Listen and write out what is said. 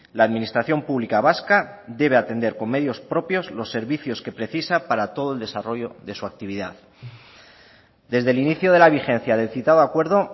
la administración pública vasca debe atender con medios propios los servicios que precisa para todo el desarrollo de su actividad desde el inicio de la vigencia del citado acuerdo